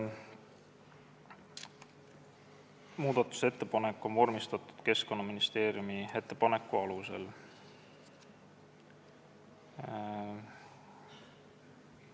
Muudatusettepanek on vormistatud Keskkonnaministeeriumi ettepaneku alusel.